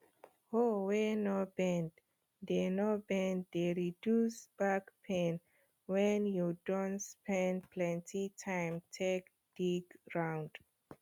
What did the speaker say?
hoe wey no bend de no bend de reduce back pain wen you don spend plenty time take dig ground